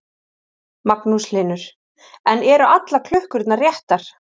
Magnús Hlynur: En eru allar klukkurnar réttar?